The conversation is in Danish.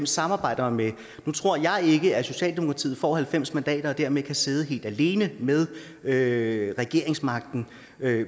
samarbejder med nu tror jeg ikke at socialdemokratiet får halvfems mandater og dermed kan sidde helt alene med med regeringsmagten